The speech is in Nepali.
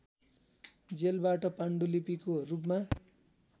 जेलबाट पाण्डुलिपिको रूपमा